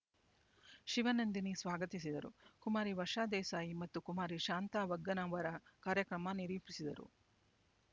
ಶಿವನಂದಿನಿ ಸ್ವಾಗತಿಸಿದರು ಕುಮಾರಿ ವರ್ಷಾ ದೇಸಾಯಿ ಮತ್ತು ಕುಮಾರಿ ಶಾಂತಾ ವಗ್ಗನವರ ಕಾರ್ಯಕ್ರಮ ನಿರೂಪಿಸಿದರು